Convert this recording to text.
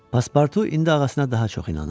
Paspartu indi ağasına daha çox inanır.